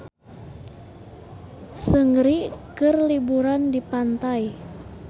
Seungri keur liburan di pantai